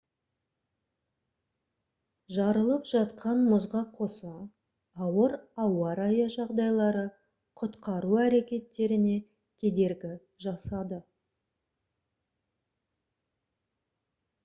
жарылып жатқан мұзға қоса ауыр ауа райы жағдайлары құтқару әрекеттеріне кедергі жасады